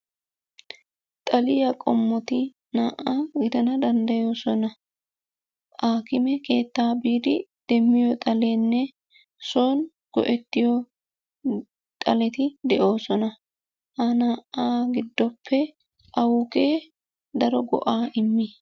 Xaliya qommoti naa"a gidana danddayoosona. Aakime keettaa biidi demmiyo xaleenne son go'ettiyo xaleti de'oosona. Ha naa"aa giddoppe awugee daro go'aa immii?